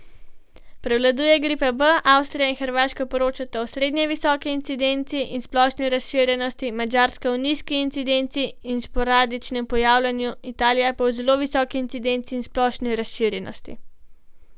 Prevladuje gripa B, Avstrija in Hrvaška poročata o srednje visoki incidenci in splošni razširjenosti, Madžarska o nizki incidenci in sporadičnem pojavljanju, Italija pa o zelo visoki incidenci in splošni razširjenosti.